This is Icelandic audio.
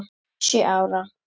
Sjö ára.